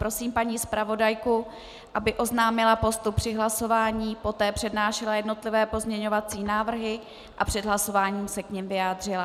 Prosím paní zpravodajku, aby oznámila postup při hlasování, poté přednášela jednotlivé pozměňovací návrhy a před hlasování se k nim vyjádřila.